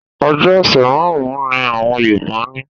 Ọjọ ọ̀sẹ̀ márùn-un ní àwọn Yorùbá ní.